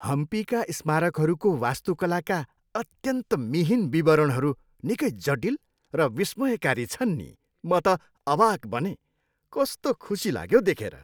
हम्पीका स्मारकहरूको वास्तुकलाका अत्यन्त मिहीन विवरणहरू निकै जटिल र विस्मयकारी छन् नि म त अवाक बनेँ। कस्तो खुसी लाग्यो देखेर।